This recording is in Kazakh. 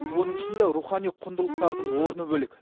оның ішінде рухани құндылықтардың орны бөлек